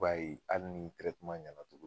I b'a ye hali ni ɲɛna tugu